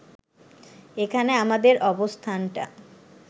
এখানে আমাদের অবস্থানটা